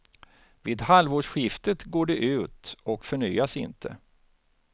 Vid halvårsskiftet går det ut och förnyas inte.